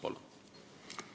Palun!